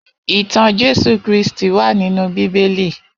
Itàn Jésú Kristi wà ninú Bibéli